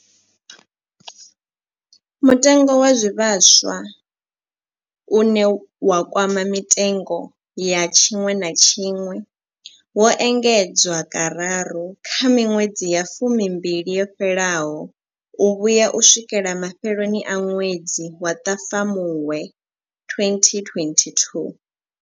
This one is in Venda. Mutengo wa zwivhaswa, une wa kwama mitengo ya tshiṅwe na tshiṅwe, wo engedzwa kararu kha miṅwedzi ya fumimbili yo fhelaho u vhuya u swikela mafheloni a ṅwedzi wa Ṱhafamuhwe 2022.